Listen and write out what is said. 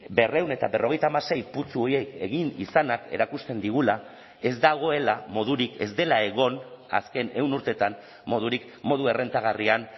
berrehun eta berrogeita hamasei putzu horiek egin izanak erakusten digula ez dagoela modurik ez dela egon azken ehun urteetan modurik modu errentagarrian